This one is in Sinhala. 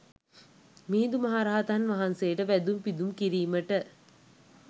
මිහිඳු මහ රහතන් වහන්සේට වැඳුම් පිදුම් කිරීමට